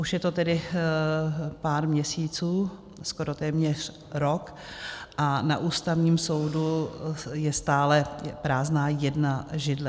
Už je to tedy pár měsíců, skoro téměř rok, a na Ústavním soudu je stále prázdná jedna židle.